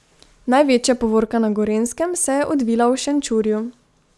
Največja povorka na Gorenjskem se je odvila v Šenčurju.